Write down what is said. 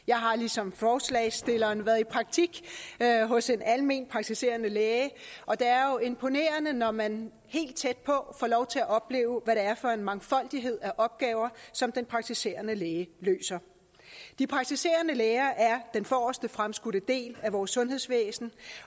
jeg har ligesom forslagsstillerne været i praktik hos en alment praktiserende læge og det er jo imponerende når man helt tæt på får lov til at opleve hvad det er for en mangfoldighed af opgaver som den praktiserende læge løser de praktiserende læger er den forreste fremskudte del af vores sundhedsvæsen